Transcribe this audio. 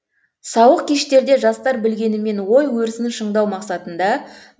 сауық кештерде жастар білгенімен ой өрісін шыңдау мақсатында